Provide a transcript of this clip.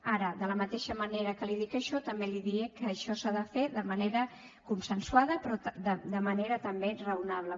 ara de la mateixa manera que li dic això també li diré que això s’ha de fer de manera consensuada però de manera també raonable